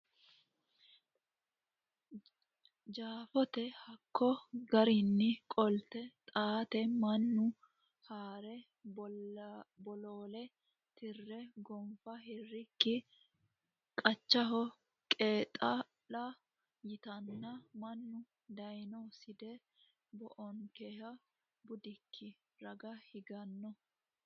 Jeefote hakko geerrinni qolte Xaate mannu ha re Bolaale tire gonfa hirikki qachaho qeexaa lo yiteenna mannu dayno Side baoonkehe budikki raga higanno !